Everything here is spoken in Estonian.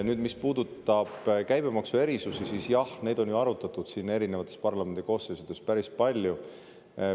Nüüd, mis puudutab käibemaksuerisusi, siis, jah, neid on ju arutatud siin erinevates parlamendi koosseisudes päris palju.